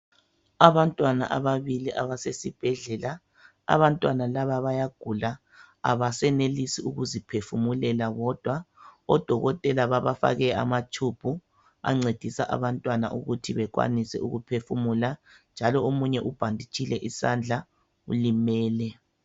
Abantwana ababili abasesibhedlela abantwana laba baya gula abasenelisi ukuziphefumulela bodwa odokotela babafake amatube ancedisa abantwana ukuthi bekwanise ukuphefumula njalo omunye ubhaditshile isandla ulimele